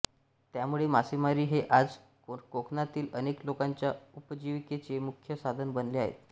त्यामुळे मासेमारी हे आज कोकणातील अनेक लोकांच्या उपजीविकेचे मुख्य साधन बनले आहे